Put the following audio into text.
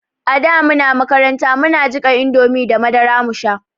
Ada muna makaranta muna jiƙa indomie da madara mu sha